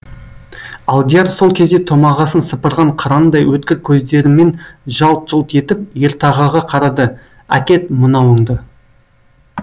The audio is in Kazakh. алдияр сол кезде томағасын сыпырған қырандай өткір көздерімен жалт жұлт етіп ертағаға қарады әкет мынауыңды